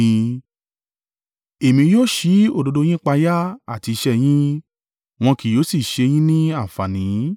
Èmi yóò ṣí òdodo yín páyà àti iṣẹ́ yín, wọn kì yóò sì ṣe yín ní àǹfààní.